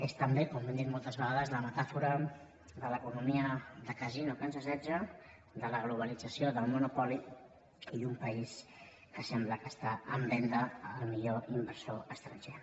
és també com hem dit moltes vegades la metàfora de l’economia de casino que ens assetja de la globalització del monopoli i un país que sembla que està en venda al millor inversor estranger